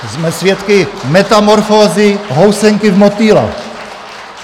Jsme svědky metamorfózy housenky v motýla.